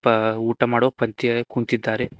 ಆ ಊಟ ಮಾಡುವ ಪಂಕ್ತಿಯಲ್ಲಿ ಕುಂತಿದ್ದಾರೆ.